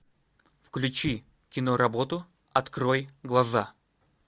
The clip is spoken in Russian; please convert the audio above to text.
включи киноработу открой глаза